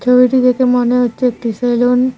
ছবিটি দেখে মনে হচ্ছে একটি সেলুন ।